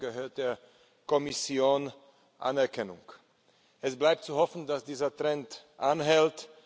Dafür gebührt der Kommission Anerkennung. Es bleibt zu hoffen, dass dieser Trend anhält.